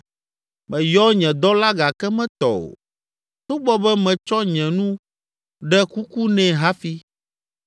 Meyɔ nye dɔla gake metɔ o togbɔ be metsɔ nye nu ɖe kuku nɛ hafi.